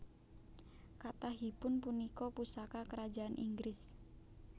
Kathahipun punika pusaka Kerajaan Inggris